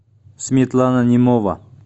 светлана немова